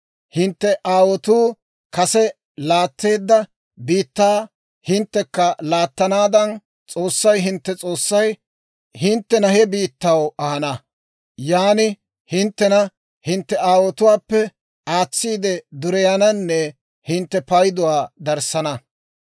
Hintte aawotuu kase laatteedda biittaa hinttekka laattanaadan S'oossay hintte S'oossay hinttena he biittaw ahana. Yan hinttena hintte aawotuwaappe aatsiide dureyananne hintte payduwaa darissana.